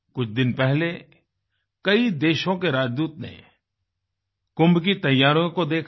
कुछ दिन पहले कई देशों के राजदूत ने कुंभ की तैयारियों को देखा